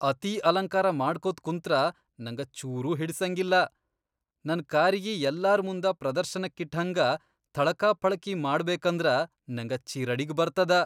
ಅತೀ ಅಲಂಕಾರ ಮಾಡ್ಕೋತ್ ಕುಂತ್ರ ನಂಗ ಚೂರೂ ಹಿಡಸಂಗಿಲ್ಲಾ. ನನ್ ಕಾರಿಗಿ ಯಲ್ಲಾರ್ ಮುಂದ ಪ್ರದರ್ಶನಕ್ಕಿಟ್ಹಂಗ ಥಳಕಪಳಕಿ ಮಾಡ್ಬೇಕಂದ್ರ ನಂಗ ಚಿರಡಿಗ್ ಬರ್ತದ.